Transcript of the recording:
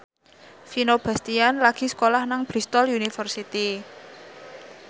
Vino Bastian lagi sekolah nang Bristol university